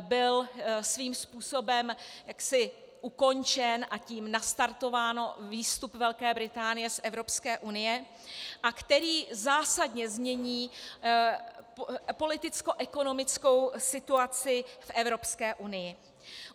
byl svým způsobem jaksi ukončen, a tím nastartován výstup Velké Británie z Evropské unie, a který zásadně změní politickoekonomickou situaci v Evropské unii.